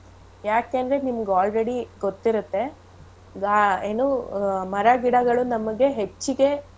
ಯಾಕೇಂದ್ರೆ ನಿಮ್ಗ್ already ಗೊತ್ತಿರುತ್ತೆ ಗಾ~ ಏನು ಮರಗಿಡಗಳು ನಮಿಗೆ ಹೆಚ್ಚಿಗೆ.